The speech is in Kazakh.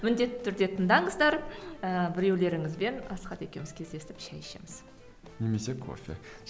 міндетті түрде тыңдаңыздар ііі біреулеріңізбен асхат екеуміз кездесіп шәй ішіміз немесе кофе